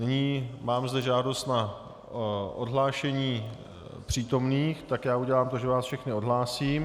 Nyní mám zde žádost na odhlášení přítomných, tak já udělám to, že vás všechny odhlásím.